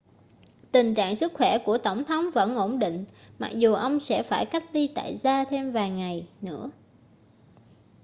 tình trạng sức khỏe của tổng thống vẫn ổn định mặc dù ông sẽ phải cách ly tại gia thêm vài ngày nữa